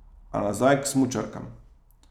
A nazaj k smučarkam.